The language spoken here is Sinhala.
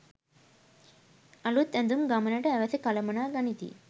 අලූත් ඇඳුම් ගමනට අවැසි කළමනා ගනිති